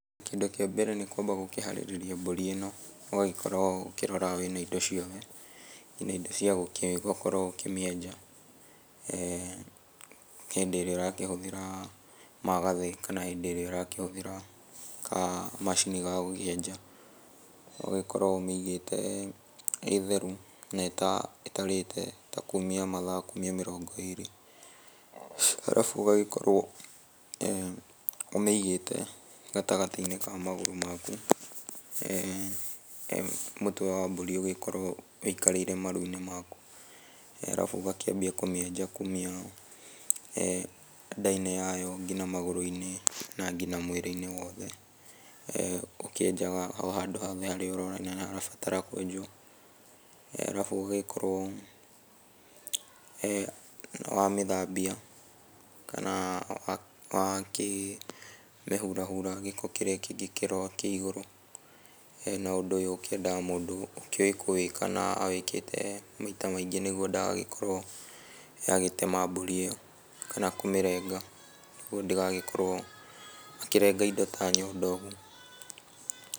Kĩndũ kĩa mbere nĩ kwamba gũkĩharĩrĩria mbũri ĩno ũgagĩkorwo ũkĩrora wĩna indo ciothe kinya indo cia gũkorwo ũkĩmĩenja hĩndĩ ĩrĩa ũrakĩhũthĩra magathĩ kana hĩndĩ ĩrĩa ũrakĩhũthĩra kamacini gagũkĩenja. Ũgagĩkorwo ũmĩigĩte ĩ theru na ĩtarĩte ta kumia mathaa ta kumia mĩrongo ĩrĩ arabu ũgagĩkorwo ũmĩigĩte gatagatĩ-inĩ ka magũrũ maku, mũtwe wa mbũri ũgĩkorwo wĩikarĩire maru-inĩ maku, arabu ũgakĩanjia kũmĩenja kuma nda-inĩ yayo nginya magũrũ-inĩ na nginya mwĩrĩ-inĩ wothe, ũkĩenjaga o handũ hothe harĩa ũrona nĩharabatara kwenjwo, arabu ũgagĩkorwo nĩwamĩthambia kana wakĩmĩhurahura gĩko kĩrĩa kĩngĩkorwo kĩ igũrũ. Na, ũndũ ũyũ ũkĩendaga mũndũ ũkĩũĩ kũwĩka na wĩkĩte maita maigĩ nĩguo ndagagĩkorwo agĩtema mbũri ĩyo kana kũmĩrenga nĩguo ndĩgagĩkorwo akĩrenga indo ta nyondo ũguo.